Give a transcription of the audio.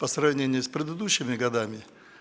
по сравнению с предыдущими годами